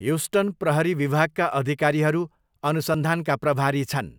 Houston प्रहरी विभागका अधिकारीहरू अनुसन्धानका प्रभारी छन्।